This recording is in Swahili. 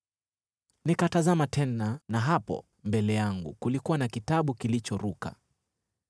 Nikatazama tena: na hapo mbele yangu kulikuwa na kitabu kilichoruka!